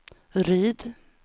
Ryd